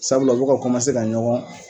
Sabula u be ka ka ɲɔgɔn